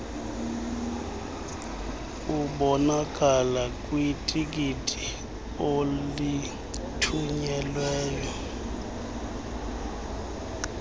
obonakala kwitikiti olithunyelweyo